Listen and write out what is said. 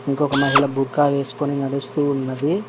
ఇంకొక మహిళ బుర్కా వేసుకొని నడుస్తూ ఉన్నది.